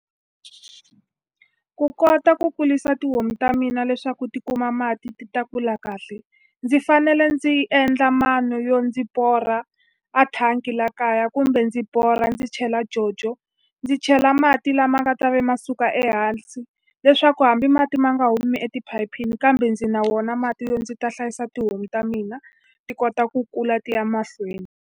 Ku kota ku kurisa tihomu ta mina leswaku ti kuma mati ti ta kula kahle. Ndzi fanele ndzi endla mano yo ndzi borha a thangi laha kaya kumbe ndzi borha chela jojo, ndzi chela mati lama nga ta va ma suka ehansi. Leswaku hambi mati ma nga humi etiphayiphini kambe ndzi na wona mati yo ndzi ta hlayisa tihomu ta mina, ti kota ku kula ti ya emahlweni.